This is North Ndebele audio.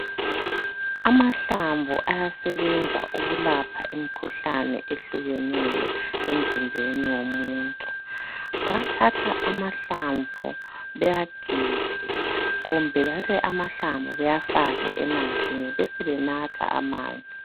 Amahlamvu ayasebenza ukulapha imkhuhlane ehlukeneyo emzimbeni womuntu bathatha amahlamvu beyagige kumbe bethathe amahlamvu beyafake emanzini besebenatha amanzi.